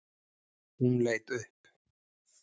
Hún leit upp.